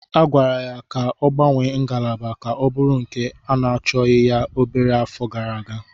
A gwara ya ka ọ gbanwee ngalaba ka ọ bụrụ nke na-achọghị ya obere afọ gara aga.